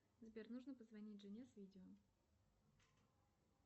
сбер нужно позвонить жене с видео